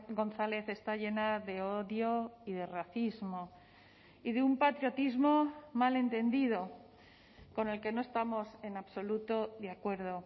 gonzález está llena de odio y de racismo y de un patriotismo mal entendido con el que no estamos en absoluto de acuerdo